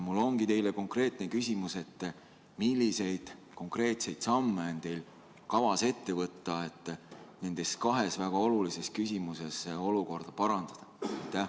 Mul on teile selline küsimus: milliseid konkreetseid samme on teil kavas ette võtta, et nendes kahes väga olulises küsimuses olukorda parandada?